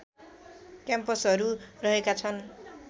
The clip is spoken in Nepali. क्याम्पसहरू रहेका छन्